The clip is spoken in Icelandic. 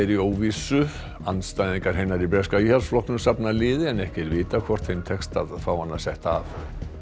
í óvissu andstæðingar hennar í breska Íhaldsflokknum safna liði en ekki er vitað hvort þeim tekst að fá hana setta af